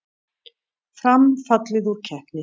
Fram fallið úr keppni